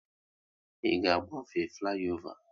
Ị ga agbafe fliova?